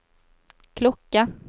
klokke